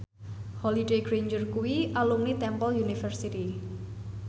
Holliday Grainger kuwi alumni Temple University